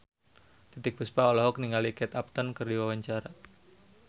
Titiek Puspa olohok ningali Kate Upton keur diwawancara